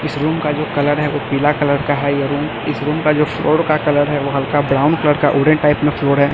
इस रूम का जो कलर है वो पीला कलर का है ये रूम इस रूम का जो फ्लोर का कलर है वो हल्का ब्राउन कलर का ऑरेंज टाइप में फ्लोर है।